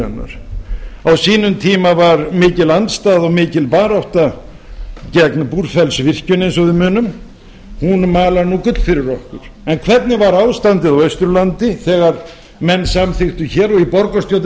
hennar á sínum tíma var mikil andstaða og mikil barátta gegn búrfellsvirkjun eins og við munum hún malar nú gull fyrir okkur en hvernig var ástandið á austurlandi þegar menn samþykktu hér og í borgarstjórn